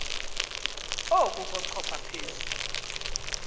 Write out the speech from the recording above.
oku kochopha phezu